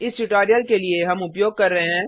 इस ट्यूटोरियल के लिए हम उपयोग कर रहे हैं